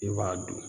I b'a dun